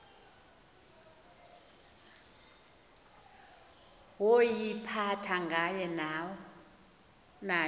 woyiphatha aye nayo